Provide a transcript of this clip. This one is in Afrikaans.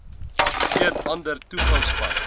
geen ander toegangspad